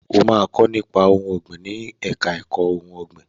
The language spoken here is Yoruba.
O máa kọ́ nípa ohun ọ̀gbìn ní ẹ̀ka ẹ̀kó ìmọ̀ ohun ọ̀gbìn.